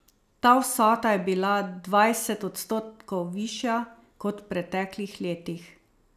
Ta vsota je bila dvajset odstotkov višja kot v preteklih letih.